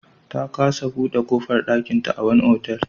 Ta kasa buɗe ƙofar ɗakinta a wani otal.